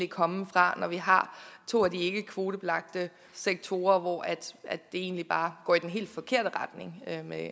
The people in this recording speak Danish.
komme fra når vi har to af de ikkekvotebelagte sektorer hvor det egentlig bare går i den helt forkerte retning